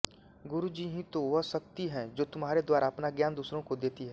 गुरु ही तो वह शक्ति है जो तुम्हारे द्वारा अपना ज्ञान दूसरों को देती है